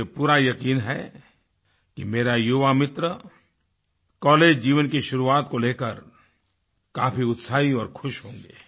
मुझे पूरा यकीन है कि मेरा युवामित्र कॉलेज जीवन की शुरुआत को लेकर काफी उत्साही और खुश होंगे